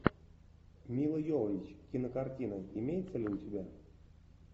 мила йовович кинокартина имеется ли у тебя